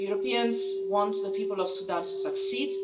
The Europeans want the people of Sudan to succeed.